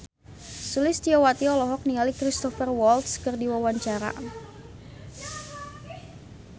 Sulistyowati olohok ningali Cristhoper Waltz keur diwawancara